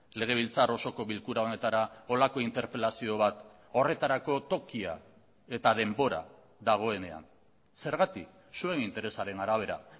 legebiltzar osoko bilkura honetara horrelako interpelazio bat horretarako tokia eta denbora dagoenean zergatik zuen interesaren arabera